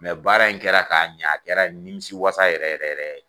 baara in kɛra k'a ɲa a kɛra nimisiwasa yɛrɛ yɛrɛ yɛrɛ ye.